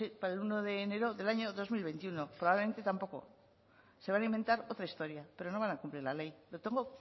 para el uno de enero del año dos mil veintiuno probablemente tampoco se van a inventar otra historia pero no van a cumplir la ley lo tengo